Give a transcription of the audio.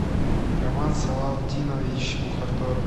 роман салавдинович мухаторов